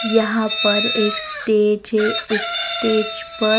यहां पर एक स्टेज हे उस स्टेज पर --